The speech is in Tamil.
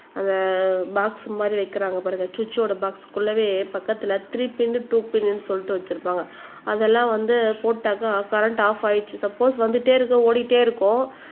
அந்த போக்ஸ் மாதிரி வைக்கிறாங்க பாருங்க சுவிட்ச் ஓட போக்ஸ்க்குள்ளவே பக்கத்துல த்ரீ பின் டூ பின் சொல்லிட்டு வச்சிருப்பாங்க அதெல்லாம் வந்து போட்டாக்கா கரண்ட் ஆப் ஆயிருச்சு சப்போஸ் வந்துட்டே இருக்கு ஓடிட்டே இருக்கும்